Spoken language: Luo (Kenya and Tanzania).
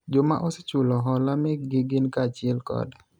joma osechulo hola mekgi gin kaachiel kod